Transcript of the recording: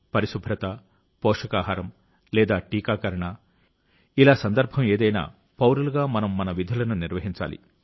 పరిశుభ్రత పోషకాహారం లేదా టీకాకరణ ఇలా సందర్భం ఏదైనా పౌరులుగా మనం మన విధులను నిర్వహించాలి